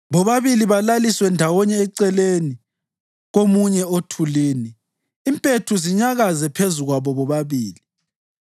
Bobabili balaliswe ndawonye eceleni komunye othulini, impethu zinyakaze phezu kwabo bobabili.